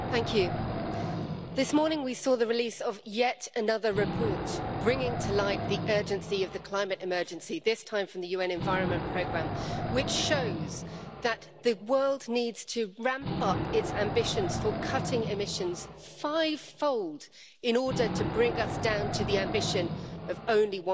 Madam President, this morning we saw the release of yet another report bringing to light the urgency of the climate emergency, this time from the UN Environment Programme, which shows that the world needs to ramp up its ambitions for cutting emissions fivefold in order to bring us down to the ambition of only